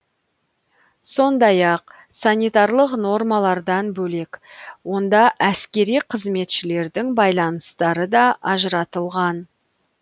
сондай ақ санитарлық нормалардан бөлек онда әскери қызметшілердің байланыстары да ажыратылған